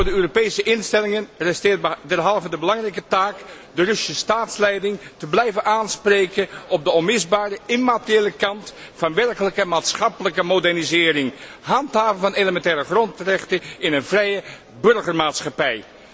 Voor de Europese instellingen rest derhalve de belangrijke taak de Russische staatsleiding te blijven aanspreken op de onmisbare immateriële kant van werkelijke maatschappelijke modernisering, handhaven van elementaire grondrechten in een vrije burgermaatschappij.